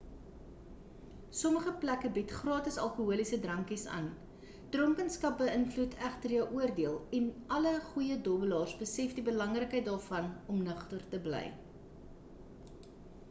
sommige plekke bied gratis alkoholiese drankies aan dronkenskap beïnvloed egter jou oordeel en alle goeie dobbelaars besef die belangrikheid daarvan om nugter te bly